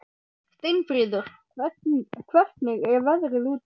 Steinfríður, hvernig er veðrið úti?